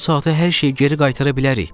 Yarım saata hər şey geri qaytara bilərik.